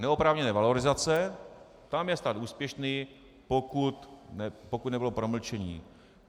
Neoprávněné valorizace - tam je stát úspěšný, pokud nebylo promlčení.